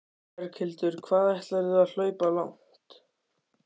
Berghildur: Hvað ætlarðu að hlaupa langt?